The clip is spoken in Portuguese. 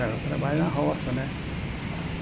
Era trabalho na roça, né?